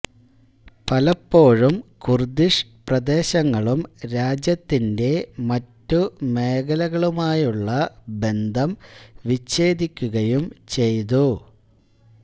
പലപ്പോഴും കുർദിഷ് പ്രദേശങ്ങളും രാജ്യത്തിന്റെ മറ്റു മേഖലകളുമായുള്ള ബന്ധം വിച്ഛേദിക്കുകയും ചെയ്തു